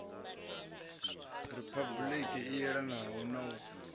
riphabuliki i yelanaho na u